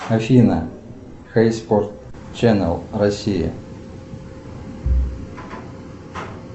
афина хей спорт ченал россия